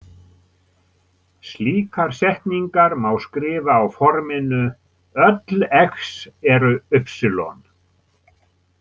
Slíkar setningar má skrifa á forminu „Öll X eru Y“.